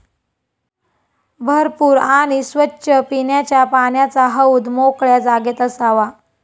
भरपूर आणि स्वच्छ पिण्याच्या पाण्याचा हौद मोकळ्या जागेत असावा.